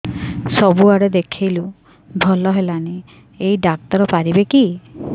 ସବୁଆଡେ ଦେଖେଇଲୁ ଭଲ ହେଲାନି ଏଇ ଡ଼ାକ୍ତର ପାରିବେ କି